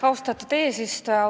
Austatud eesistuja!